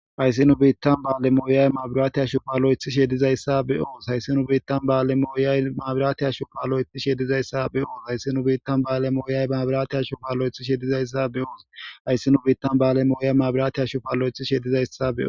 hayssi nu biittan ba7alemooyay mabiraati ya shofaaloethi shedizayssa be oos hayssi nu biittan ba7ale mooyay maabiraati yashofaaloyethi shedizayssa be oos hayssi nu biittan ba7ale mooyay maabiraati ya shofaloyethi shedizayssa be oos hayssinu biittan ba7ale mooyay mabiraatiya shofalo7ethi shedizayssa beo